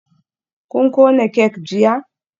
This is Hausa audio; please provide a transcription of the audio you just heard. Kun kona kek jiya?